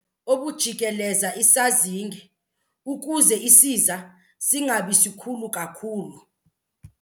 obujikeleza isazinge ukuze isiza singabi sikhulu kakhulu.